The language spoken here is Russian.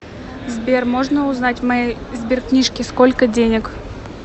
сбер можно узнать в моей сберкнижке сколько денег